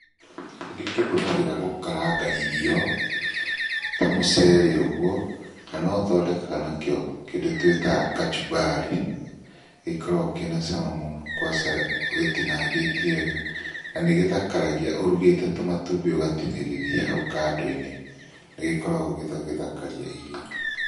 Nĩndĩkĩhũthagĩra gũkaranga irio ta mũcere ũguo, na nothondekaga nakĩo kĩndũ twĩtaga kachumbari. Gĩkoragwo kĩna cama mũno kwaca gĩtinangĩtie wega. Na nĩgĩthakaragia ũrugĩte tũmatumbĩ ũgatinĩrĩria hau kando-inĩ, nĩgĩkoragwo gĩgĩthakaria irio.